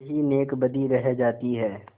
यही नेकबदी रह जाती है